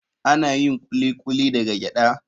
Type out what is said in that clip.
Ana yin Kuli kuli daga gyada.